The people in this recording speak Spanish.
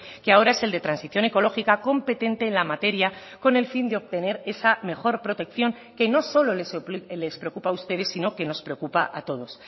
que ahora es el de transición ecológica competente en la materia con el fin de obtener esa mejor protección que no solo les preocupa a ustedes sino que nos preocupa a todos